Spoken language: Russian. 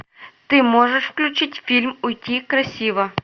ты можешь включить фильм уйти красиво